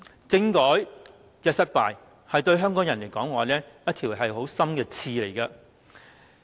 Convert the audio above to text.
政改失敗，對香港人來說是一條很深的刺。